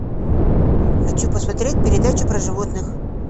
хочу посмотреть передачу про животных